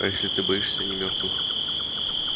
а если ты боишься не мёртвых